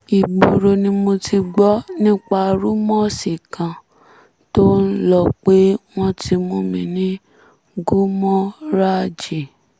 ìgboro ni mo ti gbọ́ nípa rúmọ́ọ̀sì kan tó ń lọ pé wọ́n ti mú mi ní gúmóràjì